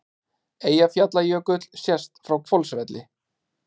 Eyjafjallajökull sést frá Hvolsvelli.